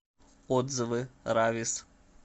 отзывы равис